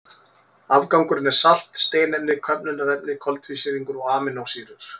Afgangurinn er salt, steinefni, köfnunarefni, koltvísýringur og amínósýrur.